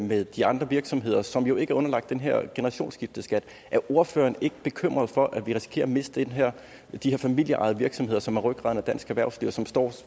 med de andre virksomheder som jo ikke er underlagt den her generationsskifteskat er ordføreren ikke bekymret for at vi risikerer at miste de her familieejede virksomheder som er rygraden i dansk erhvervsliv og som står